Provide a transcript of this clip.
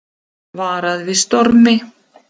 Varað við stormi